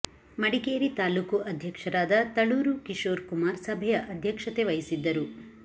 ಮಡಿಕೇರಿ ತಾಲ್ಲೂಕು ಅಧ್ಯಕ್ಷರಾದ ತಳೂರು ಕಿಶೋರ್ ಕುಮಾರ್ ಸಭೆಯ ಅಧ್ಯಕ್ಷತೆ ವಹಿಸಿದ್ದರು